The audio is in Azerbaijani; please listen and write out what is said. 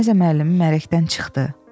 Gimnaziya müəllimi mələkdən çıxdı.